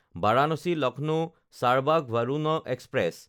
Varanasi-Lucknow Charbagh Varuna express